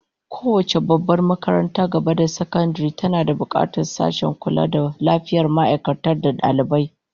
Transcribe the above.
Kowace babbar makarantar gaba da sakandare tana bukatar sashen kula da lafiyar ma'aikata da dalibai